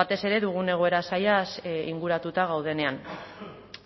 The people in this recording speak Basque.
batez ere dugun egoera zailaz inguratuta gaudenean